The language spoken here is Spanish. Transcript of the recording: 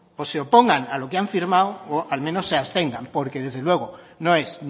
o se opongan a lo que han firmado o al menos se abstengan porque desde luego no es